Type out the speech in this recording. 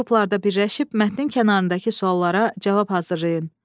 Kiçik qruplarda birləşib mətnin kənarındakı suallara cavab hazırlayın.